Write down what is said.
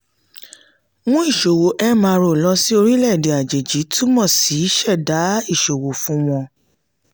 mú ìṣòwò mro lọ sí orilẹ-èdè àjèjì túmọ̀ sí ṣẹ̀dá ìṣòwò fún wọn.